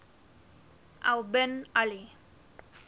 al bin ali